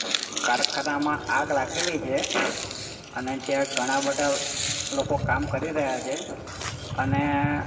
કારખાનામાં આગ લાગેલી છે અને જયાં ગણા બધા લોકો કામ કરી રહ્યા છે અને.